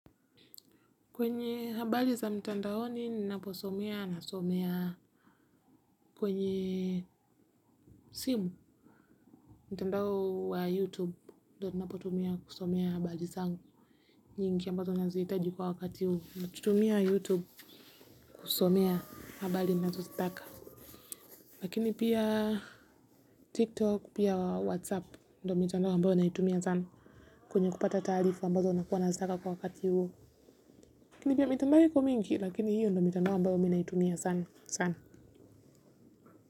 Kwenye habari za mtandaoni ninapo soma, nasoma kwenye mtandao wa youtube ndiyo natumia kusomea habari zangu. Nyingi ambazo nazihitaji, kwa wakati huu na tumia youtube kusomea habari nazozitaka. Lakini pia tiktok, pia whatsapp ndiyo mtandao ambazo natumia sana kwenye kupata taarifa ambazo nakuwa nazozitaka kwa wakati huu. Lakini pia mtandao iko mingi lakini hiyo ndiyo mtandao ambazo mimi natumia sana sana.